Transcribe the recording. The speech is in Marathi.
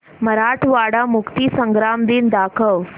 मराठवाडा मुक्तीसंग्राम दिन दाखव